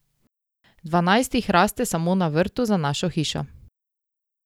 Dvanajst jih raste samo na vrtu za našo hišo.